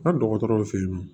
Ka dɔgɔtɔrɔw fe yen